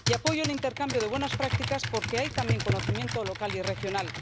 Y apoyo el intercambio de buenas prácticas porque hay también conocimiento local y regional